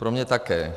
Pro mě také.